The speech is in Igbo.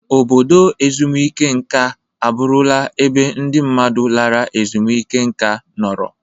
Obodo ezumike nka abụrụla ebe ndị mmadụ lara ezumike nka nọrọ.